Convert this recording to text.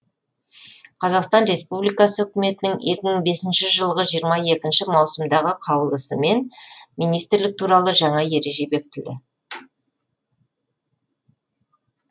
қазақстан республикасы үкіметінің екі мың бесінші жылы жиырма екінші маусымдағы қаулысымен министрлік туралы жаңа ереже бекітілді